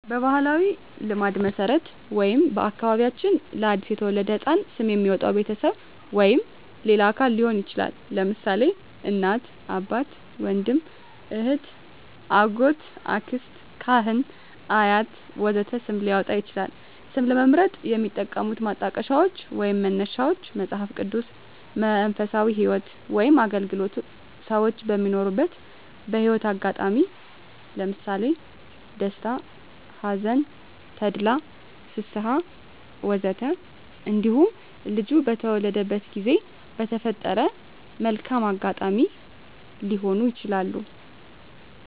በባሕላዊ ልማድ መሠረት ወይም በአከባቢያችን ለ አዲስ የተወለደ ሕፃን ስም የሚያወጣዉ ቤተሰብ ወይም ሌላ አካል ሊሆን ይችላል። ለምሳሌ: እናት፣ አባት፣ ወንድም፣ እህት፣ አጎት፣ አክስት፣ ካህን፣ አያት ወዘተ ስም ሊያወጣ ይችላል። ስም ለመምረጥ የሚጠቀሙት ማጣቀሻዎች ወይንም መነሻዎች መጽሃፍ ቅዱስ፣ መንፈሳዊ ህይወት ወይም አገልግሎት፣ ሰወች በሚኖሩት የህይወት አጋጣሚ ለምሳሌ ደስታ፣ ሀዘን፣ ተድላ፣ ፍስሀ፣ ወዘተ እንዲሁም ልጁ በተወለደበት ጊዜ በተፈጠረ መልካም አጋጣሚ ሊሆኑ ይችላሉ።